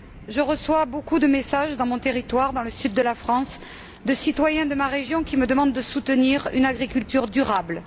Je reçois beaucoup de messages, dans mon territoire, dans le sud de la France, de citoyens de ma région qui me demandent de soutenir une agriculture durable.